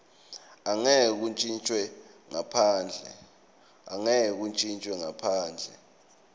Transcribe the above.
angeke kuntjintjwe ngaphandle